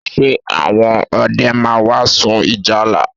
Ṣe àwọn ọdẹ máa wá sun ìjálá?